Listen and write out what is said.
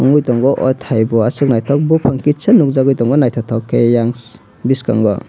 nugui tongo ahh thai o Asuka nythok bufang kisa nugjagui tongo nythotok ke tei eiang bwskango.